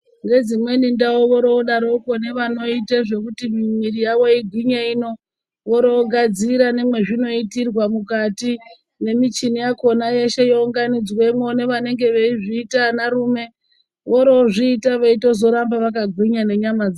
Nedzimweni ndau vorovoodarokwo vanoite nezvemitambo yekuti mwiri yavo igwinye ino. Voro voonasira nemwekuti vanozviitira mukati nemichina yavanounganidzamwo nevanozviita vanarume vorovoozvita veitambe kugwinyisa nyama dzavo.